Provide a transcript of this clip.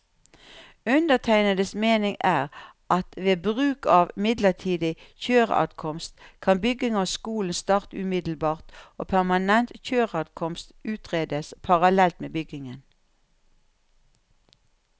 Undertegnedes mening er at ved bruk av midlertidig kjøreadkomst, kan bygging av skolen starte umiddelbart og permanent kjøreadkomst utredes parallelt med byggingen.